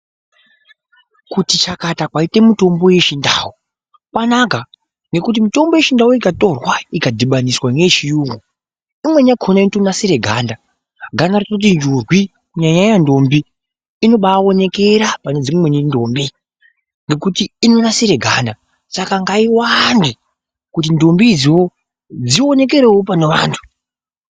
Kuti chakata kwaita mitombo yechindau kwanaka ngekuti mitombo yechindau ikatorwa ikadhibaniswa neye chirungu imweni yakona inonasira ganda rototi njurwi kunyanyanyanya ndombi inobaonekerei panedzimwe ndombie saka ngaiwande ndombi dzionekwrewo pane antu.